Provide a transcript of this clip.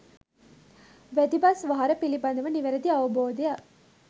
වැදි බස් වහර පිළිබඳව නිවැරදි අවබෝධයක්